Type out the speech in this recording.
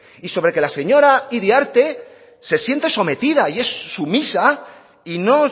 y sobre que la señora iriarte se siente sometida y es sumisa y no